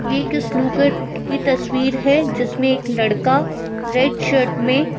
ये एक स्नूकर की तस्वीर है जिसमें एक लड़का रेड शर्ट में--